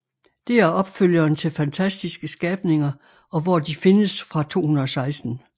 Det er opfølgeren til Fantastiske skabninger og hvor de findes fra 2016